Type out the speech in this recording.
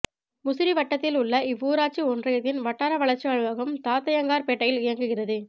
முசிறி வட்டத்தில் உள்ள இவ்வூராட்சி ஒன்றியத்தின் வட்டார வளர்ச்சி அலுவலகம் தாத்தையங்கார்பேட்டையில் இயங்குகிறது